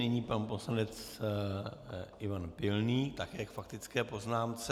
Nyní pan poslanec Ivan Pilný také k faktické poznámce.